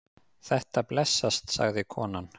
Þetta blessast, sagði konan.